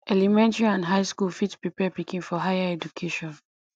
elementary and high school fit prepare pikin for higher education